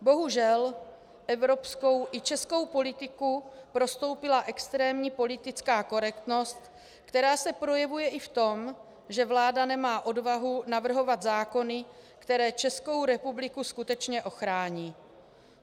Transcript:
Bohužel, evropskou i českou politiku prostoupila extrémní politická korektnost, která se projevuje i v tom, že vláda nemá odvahu navrhovat zákony, které Českou republiku skutečně ochrání.